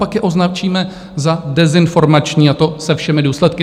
Pak je označíme za dezinformační, a to se všemi důsledky.